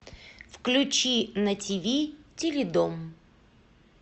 включи на тв теле дом